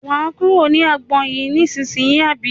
Wà á kúrò ní agbọn yìí ní ìsínyì àbí?